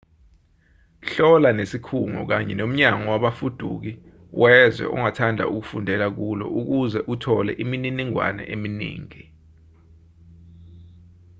hlola nesikhungo kanye nomnyango wabafuduki wezwe ongathanda ukufundela kulo ukuze uthole imininingwane eminingi